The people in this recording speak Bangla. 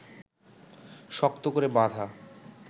শক্ত করে বাঁধা